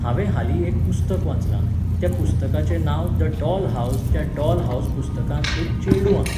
हांवें हालीं एक पुस्तक वाचलां, त्या पुस्तकाचें नांव द डॉल हावज त्या डॉल हावज पुस्तकांत एक चेडूं आहा.